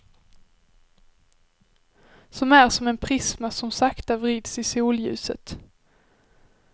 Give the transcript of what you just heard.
Som är som en prisma som sakta vrids i solljuset.